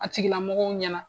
A tigila mɔgɔw ɲɛna;